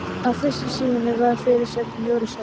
Á fyrstu síðunni var fyrirsögn: Jóru saga.